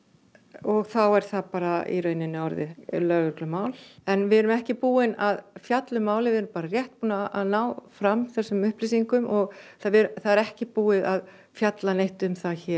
og þá er það bara orðið lögreglumál en við erum ekki búin að fjalla um málið við erum rétt búin að ná fram þessum upplýsingum og það er ekki búið að fjalla neitt um það hér